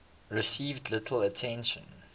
received little attention